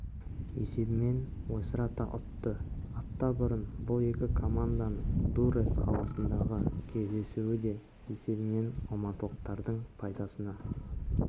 есебімен ойсырата ұтты апта бұрын бұл екі команданың дуррес қаласындағы кездесуі де есебімен алматылықтардың пайдасына